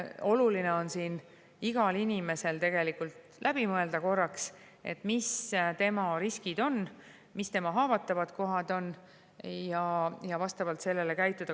Oluline on, et iga inimene mõtleks korraks lävi, mis on tema riskid ja mis on tema haavatavad kohad, ning vastavalt sellele käituks.